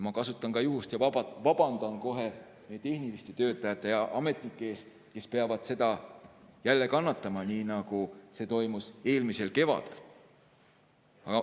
Ma kasutan juhust ja vabandan kohe tehniliste töötajate ja ametnike ees, kes peavad seda jälle kannatama, nii nagu see oli eelmisel kevadel.